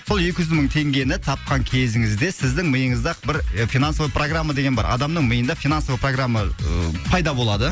сол екі жүз мың теңгені тапқан кезіңізде сіздің миыңызда бір финансовый программа деген бар адамның миында финансовый программа ы пайда болады